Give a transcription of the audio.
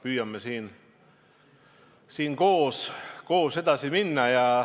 Püüame siin koos edasi minna.